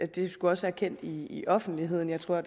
det skulle også være kendt i i offentligheden jeg tror